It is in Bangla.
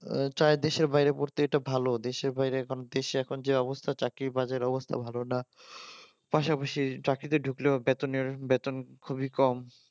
চায় দেশের বাইরে পড়তে এটা ভালো দেশের বাইরে এখন দেশে এখন যে অবস্থায় চাকরি বাজার অবস্থা ভালো না পাশাপাশি চাকরিতে ঢুকলেও বেতনের বেতন খুবই কম